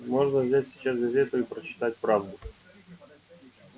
можно взять сейчас газету и прочитать правду